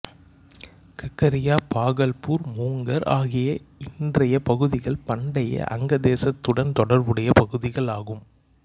ககரியா பாகல்பூர் முங்கர் ஆகிய இன்றைய பகுதிகள் பண்டைய அங்க தேசத்துடன் தொடர்புடைய பகுதிகளாகும்